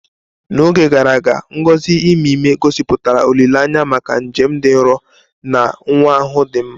N'oge gara aga, ngọzi ime ime, gosipụtara olileanya maka njem dị nro na nwa ahụ dị mma.